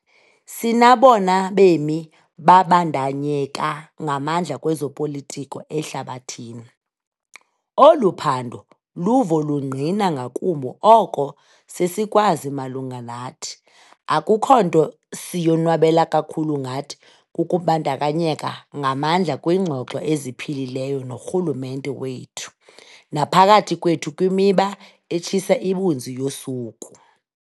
Sinabona bemi babandakanyeka ngamandla kwezopolitiko ehlabathini. Olu phando luvo lungqina ngakumbi oko sesikwazi malunga nathi. Akukho nto siyonwabela kakhulu ngathi kukubandakanyeka ngamandla kwingxoxo eziphilileyo norhulumente wethu naphakathi kwethu kwimiba etshisa ibunzi yosuku.